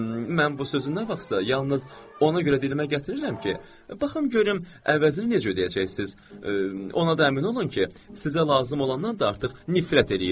Mən bu sözü nə vaxtsa yalnız ona görə dilimə gətirirəm ki, baxım görüm əvəzini necə ödəyəcəksiz, ona da əmin olun ki, sizə lazım olandan da artıq nifrət eləyirəm.